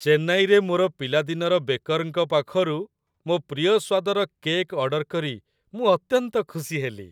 ଚେନ୍ନାଇରେ ମୋର ପିଲାଦିନର ବେକର୍‌ଙ୍କ ପାଖରୁ ମୋ ପ୍ରିୟ ସ୍ଵାଦର କେକ୍ ଅର୍ଡର କରି ମୁଁ ଅତ୍ୟନ୍ତ ଖୁସି ହେଲି।